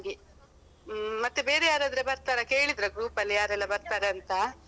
ಹಾಗೆ ಹ್ಮ್ ಮತ್ತೆ ಬೇರೆ ಯಾರಾದ್ರೆ ಬರ್ತಾರಾ ಕೇಳಿದ್ರ group ಅಲ್ಲಿ ಯಾರೆಲ್ಲ ಬರ್ತಾರಾ ಅಂತ.